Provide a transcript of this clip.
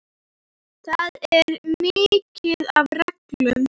Það er mikið af reglum.